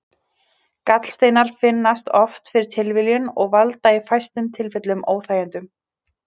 Gallsteinar finnast oft fyrir tilviljun og valda í fæstum tilfellum óþægindum.